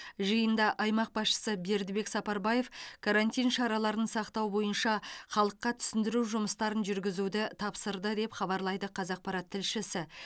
жиында аймақ басшысы бердібек сапарбаев карантин шараларын сақтау бойынша халыққа түсіндіру жұмыстарын жүргізуді тапсырды деп хабарлайды қазақпарат тілшісі